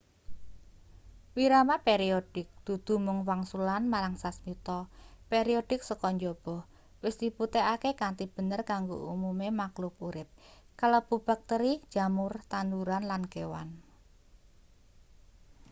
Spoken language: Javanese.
wirama periodik dudu mung wangsulan marang sasmita periodik saka njaba wis dibuktekake kanthi bener kanggo umume makluk urip kalebu bakteri jamur tanduran lan kewan